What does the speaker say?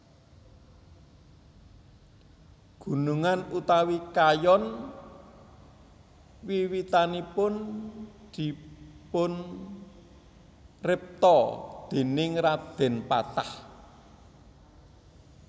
Gunungan utawi kayon wiwitanipun dipunripta déning Radèn Patah